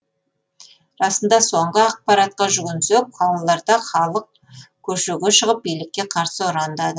расында соңғы ақпаратқа жүгінсек қалаларда халық көшеге шығып билікке қарсы ұрандады